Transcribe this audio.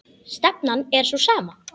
Stefnan er sú sama.